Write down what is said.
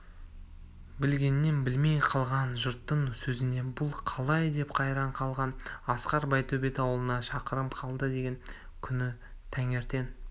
білгенін білмей қалған жұрттың сөзіне бұл қалай деп қайран қалған асқар байтөбет ауылына шақырым қалды деген күні таңертең